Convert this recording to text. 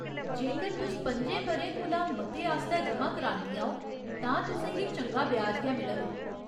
जेकर तुस पंजें ब'रें कोला मते आस्तै जमा करांदियां ओ तां तुसें गी चंगा ब्याज गै मिलग।